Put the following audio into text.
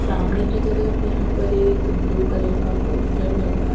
सामने की तरफ यहाँ पर एक ब्लू कलर का पोस्टर लगा--